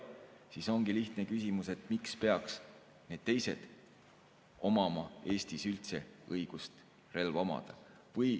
Siis ongi lihtne küsimus, miks peaks nendel teistel Eestis üldse olema õigus relva omada.